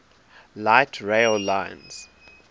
light rail lines